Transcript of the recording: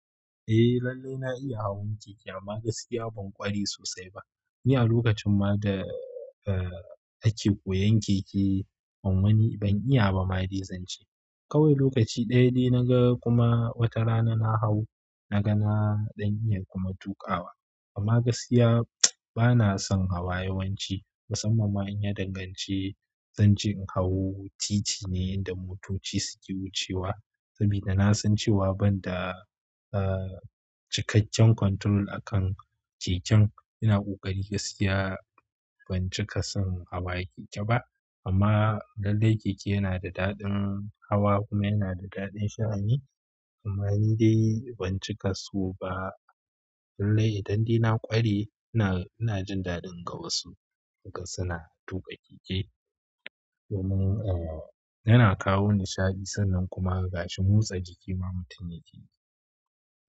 Eh lallai na iya hawan keke amma gaskiya ban ƙware sosai ba. Ni a lokacin ma da ake koyan keke ban wani ban iya bama dai zan ce kawai lokaci ɗaya dai na ga kuma wata rana na hau na ga na ɗan iya kuma tuƙawa, amma gaskiya bana son hawa yawanci. Musamman ma in ya danganci zanje in hau, titi ne inda motoci suke wucewa. Saboda na san cewa banda cikakken control akan keken ina ƙoƙari gaskiya ban cika son hawa keke ba. Amma lallai keke yana da daɗin hawa kuma yana da daɗin sha'ani amma ni dai ban cika so ba. Lallai idan dai ƙware ina jin daɗin ga wasu idan suna tuƙa keke. Domin yana kawo nishaɗi sannan kuma gashi motsa jiki ma mutum yake yi.